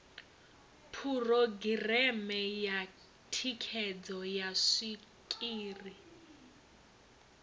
phurogireme ya thikhedzo ya zwikili